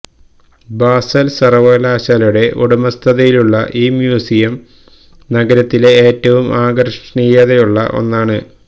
basal സർവ്വകലാശാലയുടെ ഉടമസ്ഥതയിലുള്ള ഈ മ്യൂസിയം നഗരത്തിലെ ഏറ്റവും ആകർഷണീയതയുള്ള ഒന്നാണ്